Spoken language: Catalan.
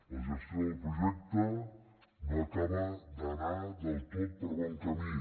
la gestió del projecte no acaba d’anar del tot per bon camí